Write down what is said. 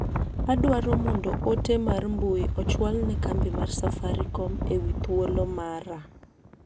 Adwao mondo ote mar mbui ochwal ne kambi mar safaricom ewi thuolo mara.